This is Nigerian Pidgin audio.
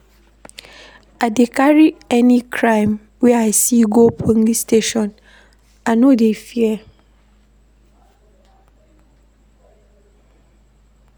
I dey carry any crime wey I see go police station, I no dey fear.